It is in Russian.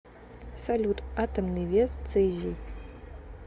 салют атомный вес цезий